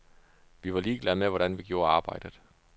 Vi var ligeglade med, hvordan vi gjorde arbejdet.